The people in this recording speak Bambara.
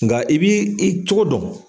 Nka i b'i i cogo dɔn.